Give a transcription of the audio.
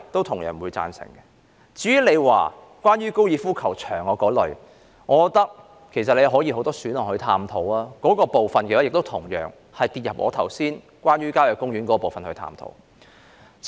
至於關乎高爾夫球場的建議，我覺得尚有很多選項可供探討，所以該建議落入我剛才就郊野公園作出的探討。